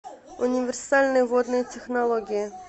универсальные водные технологии